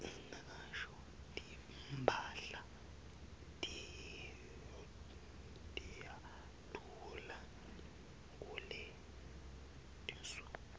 timphahla tiyadula kuletinsuku